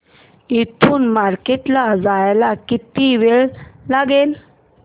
इथून मार्केट ला जायला किती वेळ लागेल